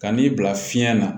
Ka n'i bila fiɲɛ na